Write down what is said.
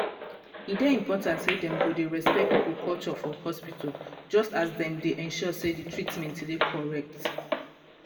e dey important say dem go dey respect people culture for hospital just as dem dey ensure say di treatment dey correct.